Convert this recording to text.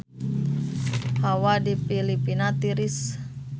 Hawa di Filipina tiris